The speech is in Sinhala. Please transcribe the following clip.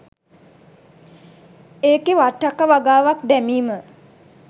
ඒකෙ වට්ටක්ක වගාවක් දැමීම